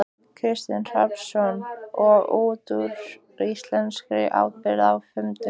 Kristinn Hrafnsson: Og út úr íslenskri ábyrgð á fimm dögum?